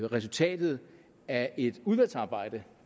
resultatet af et udvalgsarbejde